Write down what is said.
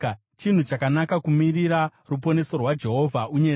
chinhu chakanaka kumirira ruponeso rwaJehovha unyerere.